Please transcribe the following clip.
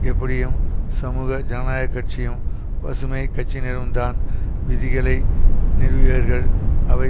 எப்படியும் சமூக ஜனநாயக கட்சியும் பசுமை கட்சியினரும்தான் விதிகளை நிறுவியர்கள் அவை